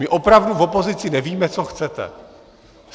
My opravdu v opozici nevíme, co chcete.